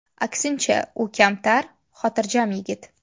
Aksincha, u kamtar, xotirjam yigit.